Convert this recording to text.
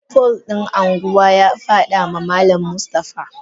Pole din anguwa yafadama malam Mustafa.